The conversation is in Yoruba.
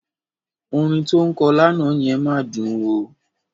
Orin tó ń kọ lánàá yẹn máa dùn ó.